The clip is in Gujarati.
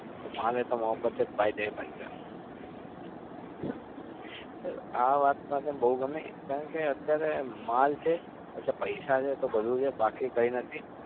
માલ હૈ તો મહોબ્બત હૈ. sir આ વાત મને બઉ ગમી કારણ કે અત્યારે પૈસા છે તો બધું છે બાકી કઈ નથી.